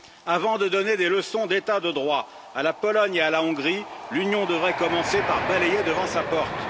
Avant de donner des leçons d'état de droit à la Pologne et à la Hongrie, l'Union devrait commencer par balayer devant sa porte.